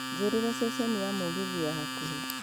njiĩrira ceceni ya mugithi ya hakũhi